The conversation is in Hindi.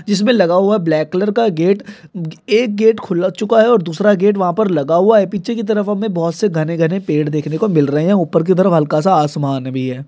जिसमे लगा हुवा है ब्लैक कलर का गेट | एक गेट खुल चुका है और दूसरा गेट वहा पर लगा हुवा है | पीछे की तरफ हमे बोहोत से घने घने पेड़ देखने को मिल रहे है| ऊपर की तरफ हल्का सा आसमान भी है ।